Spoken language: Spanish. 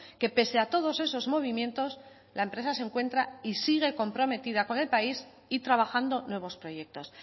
que pese a todos esos movimientos la empresa se encuentra y sigue comprometida con el país y trabajando nuevos proyectos